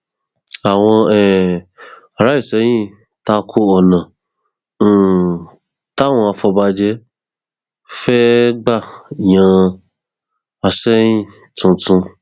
àwọn um ará ìsẹyìn ta ko ọnà um táwọn afọbàjẹ fẹẹ gbà yan àsẹyìn tuntun